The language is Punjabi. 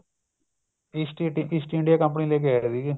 east India east India company ਲੈ ਕੇ ਆਏ ਸੀਗੇ